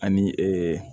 Ani